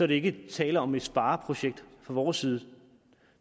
der ikke tale om et spareprojekt fra vores side